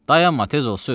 "Dayanma, tez ol sür."